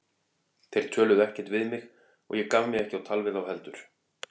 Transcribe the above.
Þeir töluðu ekkert við mig og ég gaf mig ekki á tal við þá heldur.